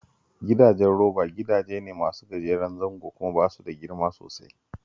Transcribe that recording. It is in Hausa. Gidajen roba gidaje ne masu gajeren zango kuma ba su da girma sosai